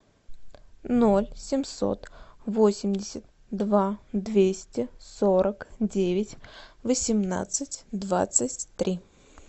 ноль семьсот восемьдесят два двести сорок девять восемнадцать двадцать три